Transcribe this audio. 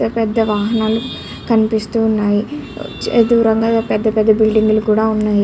పెద్ద పెద్ద వాహనాలు కనిపిస్తూ ఉన్నాయి. దూరంగా పెద్దపెద్ద బిల్డింగులు కూడా ఉన్నాయి.